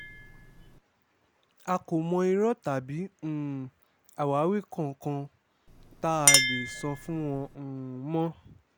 a kò mọ irọ́ tàbí um àwáwí kankan tá a lè sọ fún wọn um mọ́